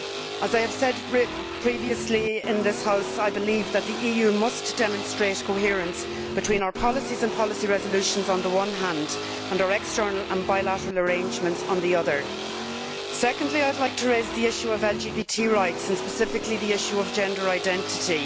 As I have said previously in this House, I believe that the EU must demonstrate coherence between its policies and policy resolutions on the one hand, and our external and bilateral arrangements on the other. Secondly, I would like to raise the issue of LGBT rights, and specifically the issue of gender identity.